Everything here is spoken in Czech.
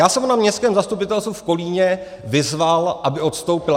Já jsem ho na Městském zastupitelstvu v Kolíně vyzval, aby odstoupil.